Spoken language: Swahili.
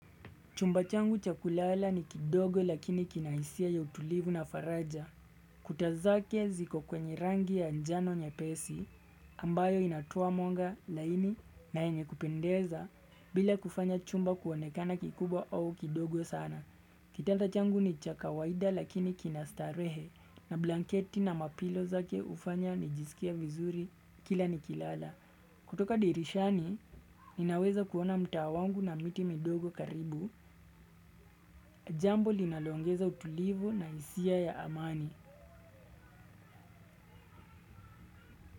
Chumba changu cha kulala ni kidogo lakini kina hisia ya utulivu na faraja. Kuta zake ziko kwenye rangi ya njano nyepesi ambayo inatoa mwanga laini na yenye kupendeza bila kufanya chumba kuonekana kikubwa au kidogo sana. Kitanda changu ni cha kawaida lakini kina starehe na blanketi na mapilo zake hufanya nijisikie vizuri kila nikilala. Kutoka dirishani, ninaweza kuona mtaa wangu na miti midogo karibu, jambo linaloongeza utulivu na hisia ya amani.